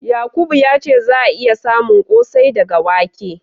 Yakubu ya ce za'a iya samun ƙosai daga wake.